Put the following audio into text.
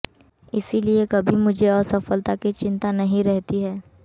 इसलिए कभी मुझे असफलता की चिंता नहीं रहती है